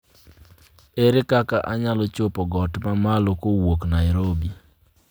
Ere kaka anyalo chopo got mamalo kowuok Nairobi